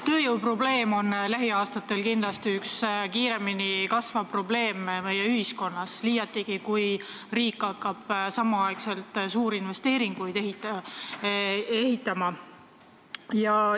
Tööjõuprobleem on lähiaastatel kindlasti üks kiiremini kasvavaid probleeme meie ühiskonnas, liiatigi kui riik hakkab samal ajal suuri investeeringuid tegema.